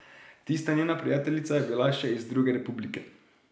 Tista njena prijateljica je bila še iz druge republike.